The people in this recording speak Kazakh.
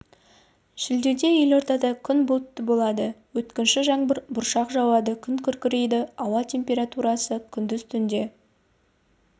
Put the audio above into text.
шілдеде елордада күн бұлтты болады өткінші жаңбыр бұршақ жауады күн күркірейді ауа температурасы күндіз түнде